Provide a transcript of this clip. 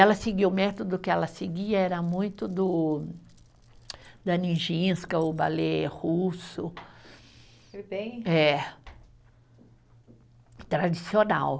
Ela seguia, o método que ela seguia era muito do da Nijinska, o ballet russo. Foi bem. É, tradicional.